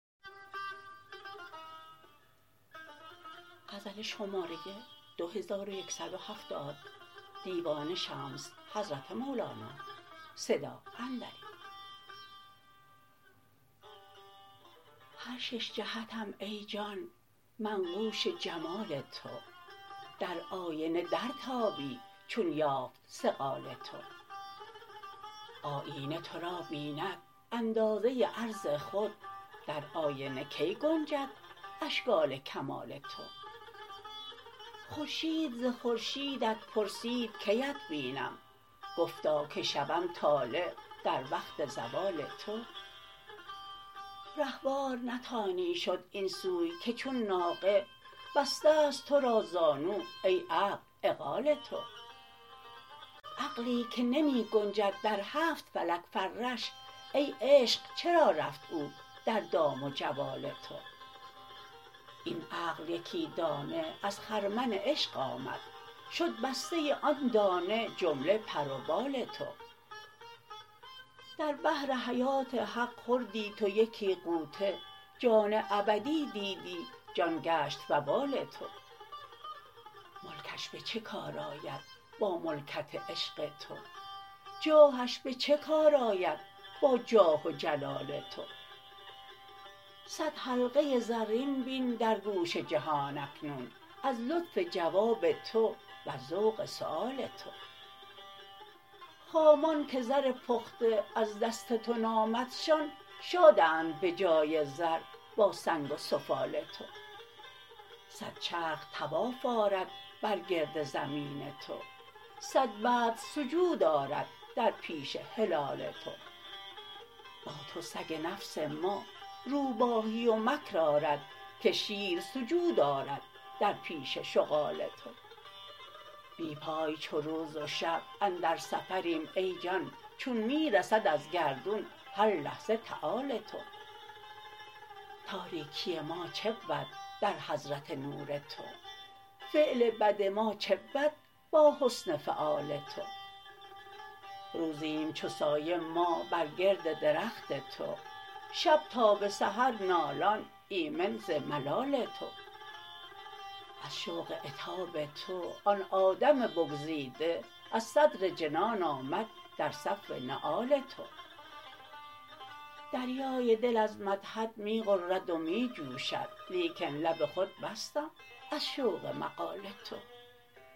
هر شش جهتم ای جان منقوش جمال تو در آینه درتابی چون یافت صقال تو آیینه تو را بیند اندازه عرض خود در آینه کی گنجد اشکال کمال تو خورشید ز خورشیدت پرسید کی ات بینم گفتا که شوم طالع در وقت زوال تو رهوار نتانی شد این سوی که چون ناقه بسته ست تو را زانو ای عقل عقال تو عقلی که نمی گنجد در هفت فلک فرش ای عشق چرا رفت او در دام و جوال تو این عقل یکی دانه از خرمن عشق آمد شد بسته ی آن دانه جمله پر و بال تو در بحر حیات حق خوردی تو یکی غوطه جان ابدی دیدی جان گشت وبال تو ملکش به چه کار آید با ملکت عشق تو جاهش به چه کار آید با جاه و جلال تو صد حلقه زرین بین در گوش جهان اکنون از لطف جواب تو وز ذوق سؤال تو خامان که زر پخته از دست تو نامدشان شادند به جای زر با سنگ و سفال تو صد چرخ طواف آرد بر گرد زمین تو صد بدر سجود آرد در پیش هلال تو با تو سگ نفس ما روباهی و مکر آرد که شیر سجود آرد در پیش شغال تو بی پای چو روز و شب اندر سفریم ای جان چون می رسد از گردون هر لحظه تعال تو تاریکی ما چه بود در حضرت نور تو فعل بد ما چه بود با حسن فعال تو روزیم چو سایه ما بر گرد درخت تو شب تا به سحر نالان ایمن ز ملال تو از شوق عتاب تو آن آدم بگزیده از صدر جنان آمد در صف نعال تو دریای دل از مدحت می غرد و می جوشد لیکن لب خود بستم از شوق مقال تو